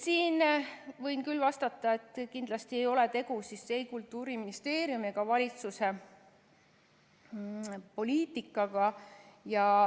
" Siin võin küll vastata, et kindlasti ei ole tegu ei Kultuuriministeeriumi ega valitsuse poliitikaga.